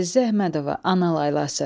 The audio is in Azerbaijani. Əzizə Əhmədova, Ana laylası.